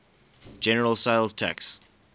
general sales tax